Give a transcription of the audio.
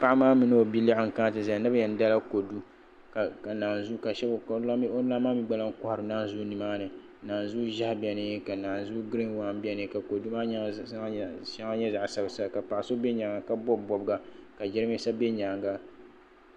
Paɣa maa mini o bia maa n kana ti ʒɛya ni bi yɛn dala kodu ka di lan maa mii gba kohari naanzuu nimaani naanzu ʒiɛhi biɛni ka naanzu giriin waan biɛni ka kodu maa mii nyaanga shɛŋa nyɛ zaɣ sabila sabila paɣa so bɛ nyaanga ka bob bobga ka jiranbiisa bɛ nyaanga